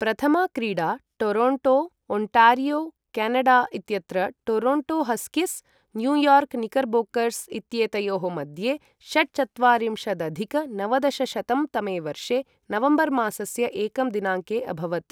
प्रथमा क्रीडा Toronto, Ontario, Canada इत्यत्र Toronto Huskies, New York Knickerbockers इत्येतयोः मध्ये षट्चत्वारिंशदधिक नवदशशतं तमे वर्षे नवम्बर् मासस्य एकं दिनाङ्के अभवत्।